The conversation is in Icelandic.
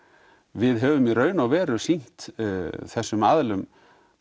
við höfum í raun og veru sýnt þessum aðilum